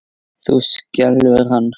Það skelfir hann.